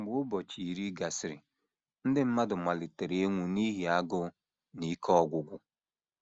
Mgbe ụbọchị iri gasịrị, ndị mmadụ malitere ịnwụ n’ihi agụụ na ike ọgwụgwụ.